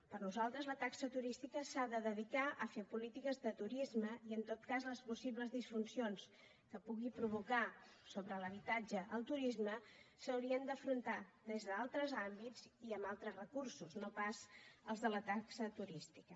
per nosaltres la taxa turística s’ha de dedicar a fer polítiques de turisme i en tot cas les possibles disfuncions que el turisme pugui provocar sobre l’habitatge s’haurien d’afrontar des d’altres àmbits i amb altres recursos no pas els de la taxa turística